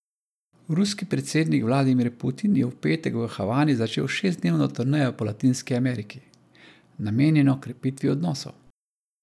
Ruski predsednik Vladimir Putin je v petek v Havani začel šestdnevno turnejo po Latinski Ameriki, namenjeno krepitvi odnosov.